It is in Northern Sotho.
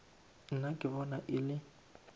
nna ke bona e le